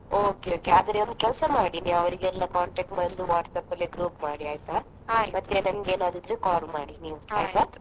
Okay, okay ಆದ್ರೆ ನೀವು ಒಂದು ಕೆಲಸ ಮಾಡಿ ನೀವು ಅವ್ರಿಗೆಲ್ಲ contact WhatsApp ಅಲ್ಲಿ ಒಂದು group ಮಾಡಿ ಆಯ್ತಾ? ನಂಗೇನಾದ್ರು ಇದ್ರೆ call ಮಾಡಿ ನೀವು .